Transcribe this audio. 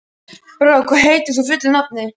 Brák, hvað heitir þú fullu nafni?